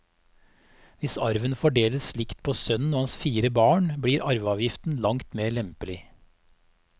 Hvis arven fordeles likt på sønnen og hans fire barn, blir arveavgiften langt mer lempelig.